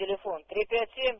телефон три пять семь